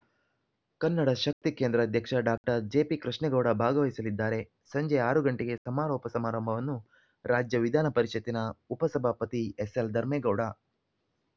ಕನ್ನಡ ಶಕ್ತಿ ಕೇಂದ್ರ ಅಧ್ಯಕ್ಷ ಡಾಕ್ಟರ್ ಜೆಪಿಕೃಷ್ಣೇಗೌಡ ಭಾಗವಹಿಸಲಿದ್ದಾರೆ ಸಂಜೆ ಆರು ಗಂಟೆಗೆ ಸಮಾರೋಪ ಸಮಾರಂಭವನ್ನು ರಾಜ್ಯ ವಿಧಾನ ಪರಿಷತ್ತಿನ ಉಪ ಸಭಾಪತಿ ಎಸ್‌ಎಲ್‌ ಧರ್ಮೇಗೌಡ